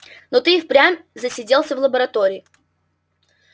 но ты и впрямь засиделся в лаборатории